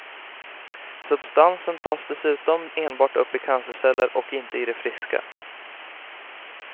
Substansen tas dessutom enbart upp i cancerceller och inte i de friska.